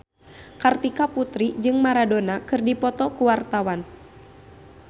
Kartika Putri jeung Maradona keur dipoto ku wartawan